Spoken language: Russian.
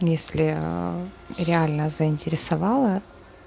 если реально заинтересовала